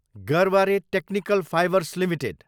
Garware technical fibres Ltd